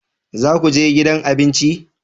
Za ku je gidan abinci?